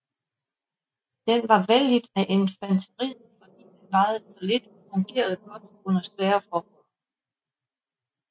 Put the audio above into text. Den var vellidt af infanteriet fordi den vejede så lidt og fungerede godt under svære forhold